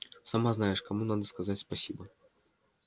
сама знаешь кому надо сказать спасибо